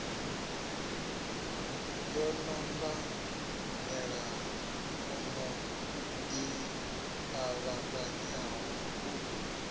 yo ṱanganelano i ṱavhanyaho u